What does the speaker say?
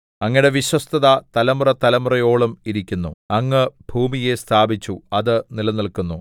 അങ്ങയുടെ വിശ്വസ്തത തലമുറതലമുറയോളം ഇരിക്കുന്നു അങ്ങ് ഭൂമിയെ സ്ഥാപിച്ചു അത് നിലനില്ക്കുന്നു